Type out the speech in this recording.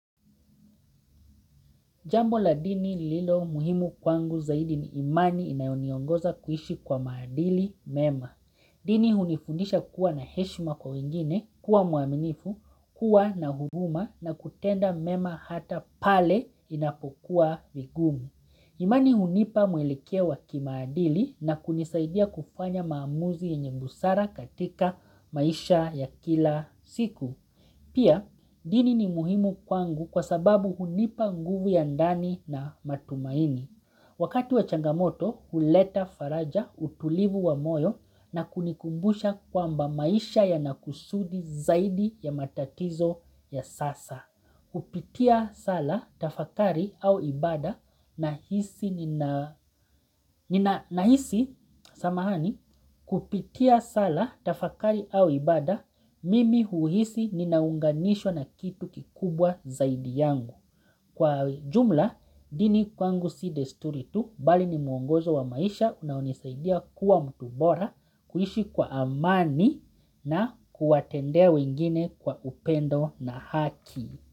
Jambo la dini lililo muhimu kwangu zaidi ni imani inayoniongoza kuishi kwa maadili mema. Dini hunifundisha kuwa na heshima kwa wengine, kuwa muaminifu, kuwa na huruma na kutenda mema hata pale inapokuwa vigumu. Imani hunipa mwelekeo waki maadili na kunisaidia kufanya maamuzi yenye busara katika maisha ya kila siku. Pia, dini ni muhimu kwangu kwa sababu hunipa nguvu ya ndani na matumaini. Wakati wa changamoto, huleta faraja utulivu wa moyo na kunikumbusha kwa mba maisha ya nakusudi zaidi ya matatizo ya sasa. Kupitia sala tafakari au ibada mimi uhisi ninaunganishwa na kitu kikubwa zaidi yangu Kwa jumla dini kwangu si desturitu bali ni muongozo wa maisha unaonisaidia kuwa mtubora kuhishi kwa amani na kuwatendea wengine kwa upendo na haki.